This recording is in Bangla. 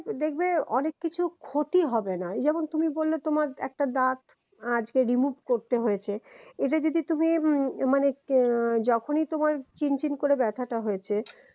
দেখবে অনেক কিছু ক্ষতি হবেনা এই যেমন তুমি বললে তোমার একটা দাত আজ remove করতে হয়েছে এটা যদি তুমি মানে আহ যখনই তোমার চিনচিন করে ব্যথাটা হয়েছে